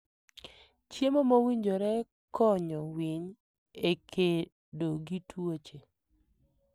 Chiemo mowinjore konyo winy e kedo gi tuoche.